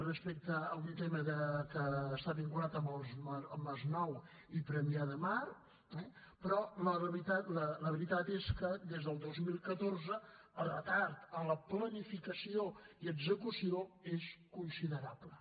respecte a un tema de que està vinculat amb el masnou i premià de mar eh però la veritat és que des del dos mil catorze el retard en la planificació i execució és considerable